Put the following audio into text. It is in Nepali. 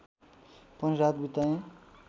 पनि रात बिताएँ